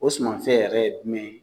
O suman fɛn yɛrɛ ye jumɛn ye?